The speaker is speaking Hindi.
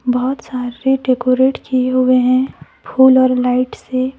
बहुत सारे डेकोरेट किए हुए हैं फूल और लाइट से।